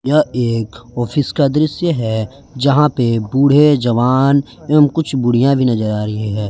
यह एक ऑफिस का दृश्य है जहां पे बूढ़े जवान एवं कुछ बुढ़िया भी नजर आ रहीहै।